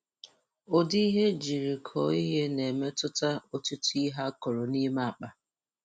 Udi ihe ejiri koọ ihe na-emetụta otuto ihe akọrọ n' ime akpa